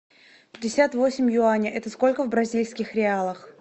пятьдесят восемь юаней это сколько в бразильских реалах